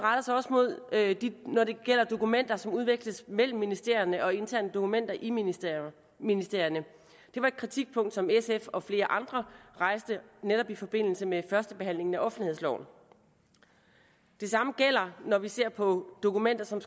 når det gælder dokumenter som udveksles mellem ministerierne og interne dokumenter i ministerierne ministerierne det var et kritikpunkt som sf og flere andre rejste netop i forbindelse med førstebehandlingen af offentlighedslov det samme gælder når vi ser på dokumenter som